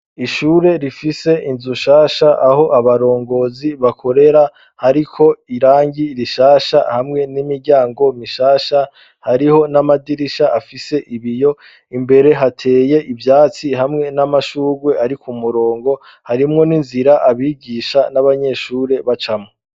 Ishure rifise inzu shasha aho abarongozi bakorera ,hariko irangi rishasha ,hamwe n'imiryango mishasha, hariho n'amadirisha afise ibiyo ,imbere hateye ivyatsi hamwe n'amashurwe ,arik'umurongo ,harimwo n'inzira abigisha n'abanyeshure bacamwo.